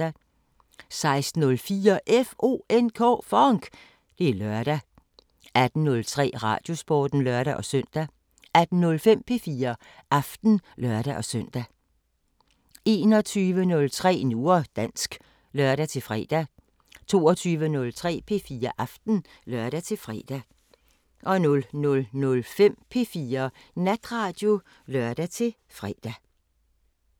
16:04: FONK! Det er lørdag 18:03: Radiosporten (lør-søn) 18:05: P4 Aften (lør-søn) 21:03: Nu og dansk (lør-fre) 22:03: P4 Aften (lør-fre) 00:05: P4 Natradio (lør-fre)